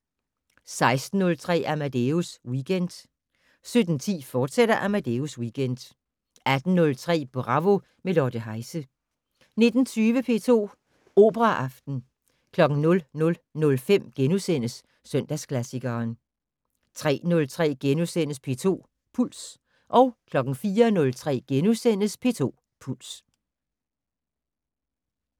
16:03: Amadeus Weekend 17:10: Amadeus Weekend, fortsat 18:03: Bravo - med Lotte Heise 19:20: P2 Operaaften 00:05: Søndagsklassikeren * 03:03: P2 Puls * 04:03: P2 Puls *